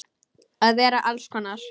Að vera alls konar.